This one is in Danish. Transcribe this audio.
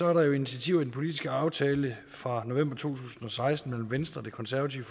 er der initiativer i den politiske aftale fra november to tusind og seksten mellem venstre det konservative